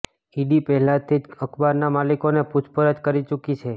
ED પહેલાથી જ અખબારના માલિકોને પૂછપરછ કરી ચૂકી છે